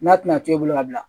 N'a tɛna to i bolo ka bila